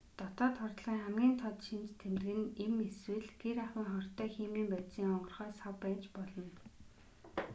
дотоод хордлогын хамгийн тод шинж тэмдэг нь эм эсвэл гэр ахуйн хортой химийн бодисын онгорхой сав байж болно